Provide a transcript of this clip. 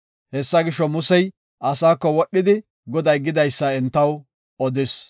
Hessa gisho, Musey asaako wodhidi Goday gidaysa entaw odis.